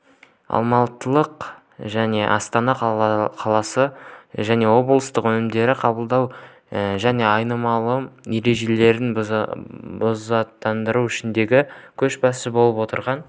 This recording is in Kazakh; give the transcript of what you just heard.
алматы мен астана қалалары және облыстарда өнімдерді қабылдау және айналым ережелерін бұзатындардың ішіндегі көшбасшы болып отырған